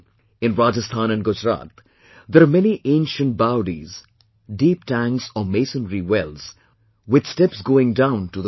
In Rajasthan and Gujarat there are many ancient baodis deep tanks or masonry wells with steps going down to the water